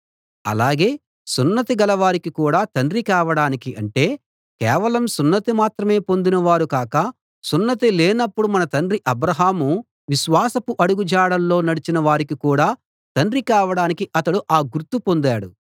అలాగే సున్నతి గలవారికి కూడా తండ్రి కావడానికి అంటే కేవలం సున్నతి మాత్రమే పొందిన వారు కాక సున్నతి లేనప్పుడు మన తండ్రి అబ్రాహాము విశ్వాసపు అడుగుజాడల్లో నడచిన వారికి కూడా తండ్రి కావడానికి అతడు ఆ గుర్తు పొందాడు